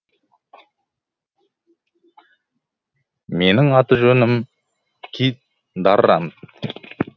менің аты жөнім кит даррант